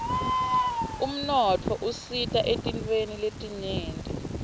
umnotfo usita etintfweni letinyenti